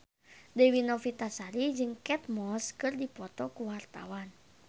Dewi Novitasari jeung Kate Moss keur dipoto ku wartawan